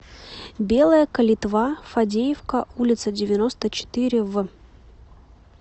белая калитва фадеевка улица девяносто четыре в